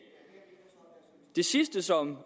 det sidste som